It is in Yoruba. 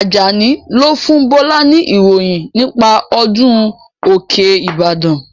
Ajani lo fún Bọlá ni ìròyìn nípa ọdún òkè ìbàdàn